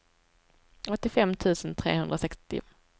åttiofem tusen trehundrasextio